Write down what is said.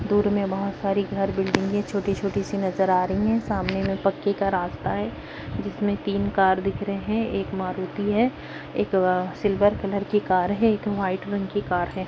दूर में बोहोत सारी घर बिल्डिंगे छोटी- छोटी -सी नज़र आ रही है सामने में पक्के का रास्ता है जिसमें तीन कार दिख रहे है एक मारुती है एक अ सिल्वर कलर की कार है एक व्हाइट रंग की कार हैं।